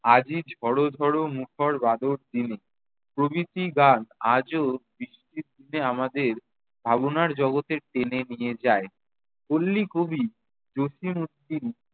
আজই ঝড় ঝড় মুখর বাদর দিনে প্রভৃতি গান আজও বৃষ্টির দিনে আমাদের ভাবোনার জগতে টেনে নিয়ে যায়। পল্লীকবি জসীম উদ্দিন